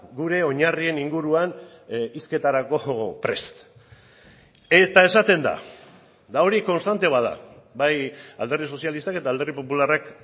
gure oinarrien inguruan hizketarako prest eta esaten da eta hori konstante bat da bai alderdi sozialistak eta alderdi popularrak